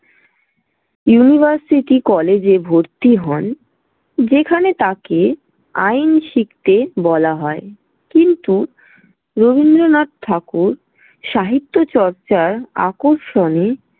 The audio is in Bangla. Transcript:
University College এ ভর্তি হন যেখানে তাঁকে আইন শিখতে বলা হয়। কিন্তু রবীন্দ্রনাথ ঠাকুর সাহিত্য চর্চার আকর্ষণে।